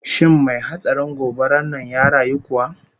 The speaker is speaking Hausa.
Shin mai hatsarin gobarar nan ya rayu kuwa?